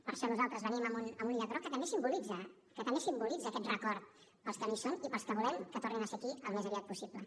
per això nosaltres venim amb un llaç groc que també simbolitza que també simbolitza aquest record per als que no hi són i per als que volem que tornin a ser aquí al més aviat possible